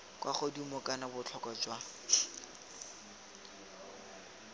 kwa godimo kana botlhokwa jwa